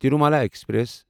Tirumala express